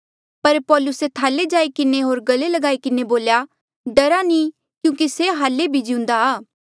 पर पौलुसे थाले जाई किन्हें होर गले लगी किन्हें बोल्या डरा नी क्यूंकि से हाल्ले भी जिउंदा आ